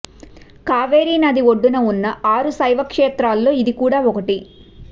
కావేరి నది ఒడ్డున ఉన్న ఆరు శైవ క్షేత్రాల్లో ఇది కూడా ఒకటి